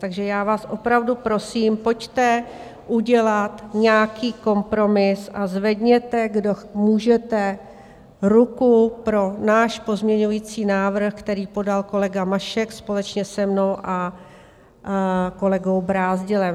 Takže já vás opravdu prosím, pojďte udělat nějaký kompromis a zvedněte, kdo můžete, ruku pro náš pozměňovací návrh, který podal kolega Mašek společně se mnou a kolegou Brázdilem.